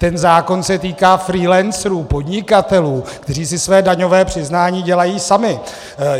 Ten zákon se týká freelancerů, podnikatelů, kteří si své daňové přiznání dělají sami.